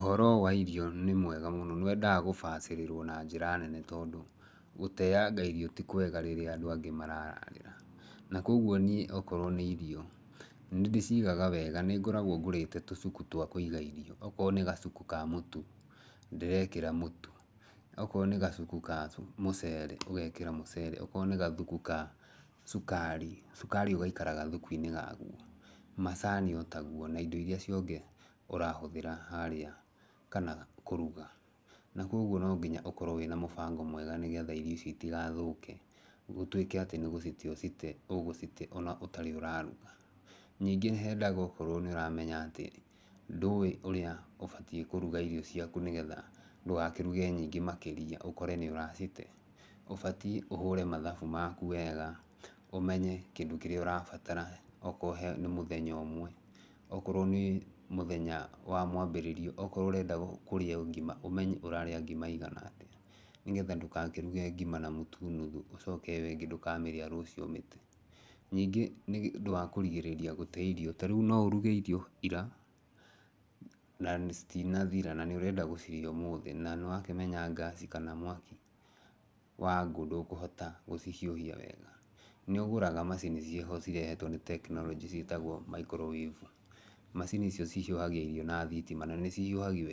Ũhoro wa irio nĩ mwega mũno. Nĩ wendaga gũbacĩrĩrwo na njĩra nene tondũ, gũteanga irio ti kwega rĩrĩa andũ angĩ marararĩra. Na koguo niĩ okorwo nĩ irio, nĩ ndĩcigaga wega, nĩ ngoragwo ngũrĩte tũcuku twa kũiga irio. Okorwo nĩ gacuku ka mũtu, ndĩrekĩra mũtu. Okorwo nĩ gacuku ka mũcere, ũgekĩra mũcere, okorwo nĩ gathuku ka cukari, cukari ũgaikara gathuku-inĩ ga guo. Macani o taguo na indo irĩa icio ingĩ ũrahũthĩra harĩa, kana kũruga. Na koguo no nginya ũkorwo wĩna mũbango mwega nĩgetha irio icio itaigathũke. Gũtuĩke nĩ gũcite ũgũte ũgũcite ona ũtarĩ ũraruga. Ningĩ nĩ hendaga okorwo nĩ ũramenya atĩ, ndũwĩ ũrĩa ũbatiĩ kũruga irio ciaku, nĩgetha ndũgakĩruge nyingĩ makĩria ũkore nĩ ũracite, ũbatiĩ ũhũre mathabu maku wega, ũmenye, kĩndũ kĩrĩa ũrabatara. Okorwo he mũthenya ũmwe, okorwo nĩ mũthenya wa mwambĩrĩrio, okorwo ũrenda kũrĩa ngima, ũmenye ũrarĩa ngima ĩigana atĩa. Nĩgetha ndũgakĩruge ngima na mũtu nuthu ũcoke ĩyo ĩngĩ ndũkamĩrĩa rũciũ ũmĩte. Ningĩ nĩ ũndũ wa kũrigĩrĩria gũte irio, ta rĩu no ũruge irio ira, na citinathira na nĩ ũrenda gũcirĩa ũmũthĩ, na nĩ wakĩmenya ngaci kana mwaki wa ngũ ndũkũhota gũcihiũhia wega. Nĩ ũgũraga macini ciĩho cirehetwo nĩ tekinoronjĩ ciĩtagwo microwave. Macini icio cihiũhagia irio na thitima, na nĩ cihiũhagia wega.